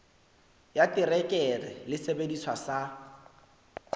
ya terekere le sesebediswa sa